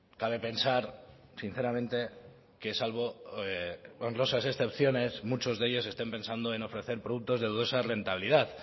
cabe pensar sinceramente que salvo honrosas excepciones muchos de ellos estén pensando en ofrecer productos de dudosa rentabilidad